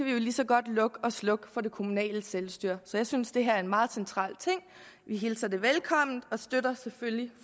vi lige så godt lukke og slukke for det kommunale selvstyre så jeg synes det her er en meget central ting vi hilser det velkommen og støtter selvfølgelig